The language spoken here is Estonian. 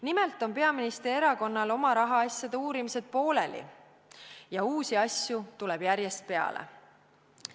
Nimelt on peaministri erakonna rahaasjade uurimised pooleli ja uusi asju tuleb järjest peale.